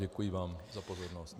Děkuji vám za pozornost.